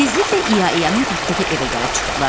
Tezliklə İya İyanın tapdığı evə gəlib çıxdılar.